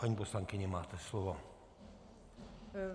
Paní poslankyně, máte slovo.